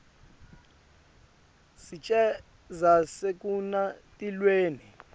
sicelo sekungenisa tilwane